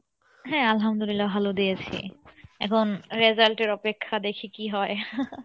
হ্যাঁ আল্লাহমদুল্লিয়া ভালো দিয়েছি, এখন result এর অপেক্ষা দেখি কী হয়